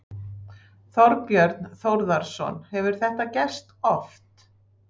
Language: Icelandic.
Þorbjörn Þórðarson: Hefur þetta gerst oft?